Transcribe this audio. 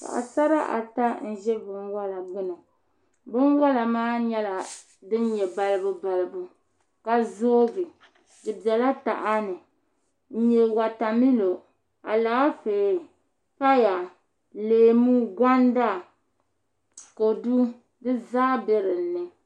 Paɣasara ata n nyɛ bin ʒɛ binwola gbuni binwola maa nyɛla din nyɛ balibu balibu ka zoogi di biɛla taha ni n nyɛ wotamilo Alaafee paya leemu kodu konda di zaa bɛ dinni